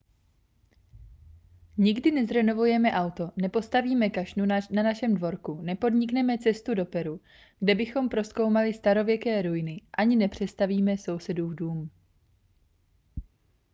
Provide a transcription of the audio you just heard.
nikdy nezrenovujeme auto nepostavíme kašnu na našem dvorku nepodnikneme cestu do peru kde bychom prozkoumali starověké ruiny ani nepřestavíme sousedův dům